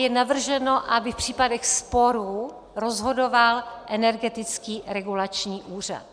Je navrženo, aby v případech sporů rozhodoval Energetický regulační úřad.